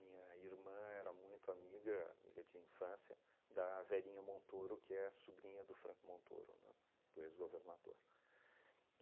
irmã era muito amiga, amiga de infância, da velhinha Montoro, que é sobrinha do Franco Montoro, né, do ex-governador.